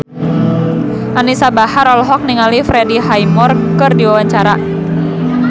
Anisa Bahar olohok ningali Freddie Highmore keur diwawancara